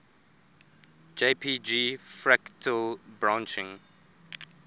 jpg fractal branching